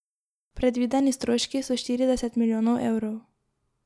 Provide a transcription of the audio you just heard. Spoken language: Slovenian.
Predvideni stroški so štirideset milijonov evrov.